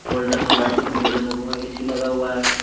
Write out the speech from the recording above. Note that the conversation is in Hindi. गोल्डन और वाइट कलर के बैलून लगा हुआ है एसी लगा हुआ है।